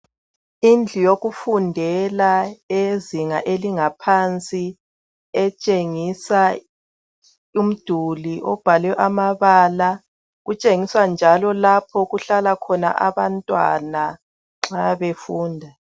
Indlu yokufundela eyezinga elingaphansi etshengisa umduli obhalwe amabala kutshengisa njalo lapha okuhlala khona abantwana nxa befunda.